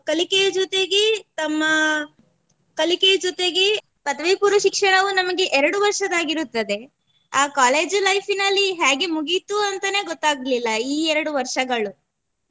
ಕಲಿಕೆಯ ಜೊತೆಗೆ ತಮ್ಮ ಕಲಿಕೆಯ ಜೊತೆಗೆ; ಪದವಿ ಪೂರ್ವ ಶಿಕ್ಷಣವೂ ನಮಗೆ ಎರಡು ವರ್ಷದಾಗಿರುತ್ತದೆ ಆ college life ನಲ್ಲಿ ಹ್ಯಾಗೆ ಮುಗೀತು ಅಂತನೆ ಗೊತ್ತಾಗ್ಲಿಲ್ಲಾ ಈ ಎರಡು ವರ್ಷಗಳು